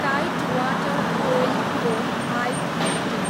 tied Water Oil Co, I, limited